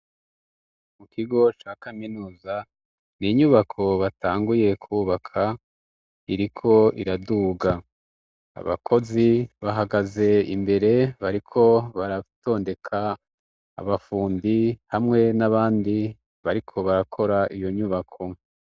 Mu kigo ca kaminuza ni inyubako batanguye kubaka iriko iraduga abakozi bahagaze imbere bariko baratondeka abafundi hamwe n'abandi bariko barakora iyo nyubako.